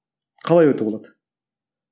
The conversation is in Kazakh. қалай оятуға болады